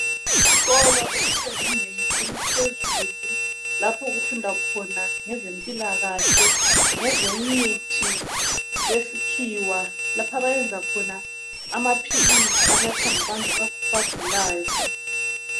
Isikolo esisezingeni eliphezulu lapho kufundwa khona ngezempilakahle, ngezemithi yesikhiwa, lapha abayenza khona amaphilisi anathwa ngabantu abagulayo.